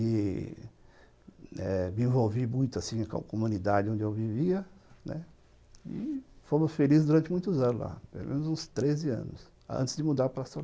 E me envolvi muito assim com a comunidade onde eu vivia e fomos felizes durante muitos anos lá, pelo menos uns treze anos, antes de mudar para Soro